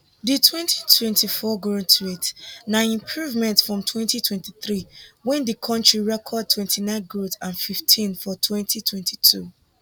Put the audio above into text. di 2024 growth rate na improvement from 2023 when di kontri record 29 growth and 15 for 2022